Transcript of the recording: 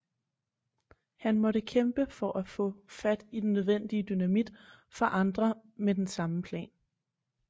Han måtte kæmpe for at få fat i den nødvendige dynamit fra andre med den samme plan